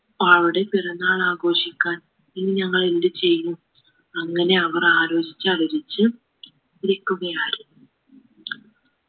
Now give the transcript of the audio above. അവളുടെ പിറന്നാൾ ആഘോഷിക്കാൻ ഇനിങ്ങൾ എന്ത് ചെയ്യും അങ്ങനെ അവർ ആലോചിച്ച് ആലോചിച്ചു ഇരികുകയായി